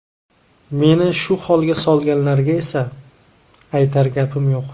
Meni shu holga solganlarga esa aytar gapim yo‘q.